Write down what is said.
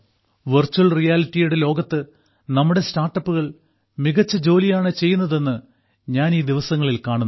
virtual റിയാലിറ്റിയുടെ ലോകത്ത് നമ്മുടെ സ്റ്റാർട്ടപ്പുകൾ മികച്ച ജോലിയാണ് ചെയ്യുന്നത് എന്ന് ഞാൻ ഈ ദിവസങ്ങളിൽ കാണുന്നു